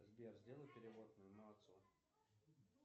сбер сделай перевод моему отцу